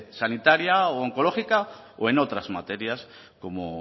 sanitaria u oncológica o en otras materias como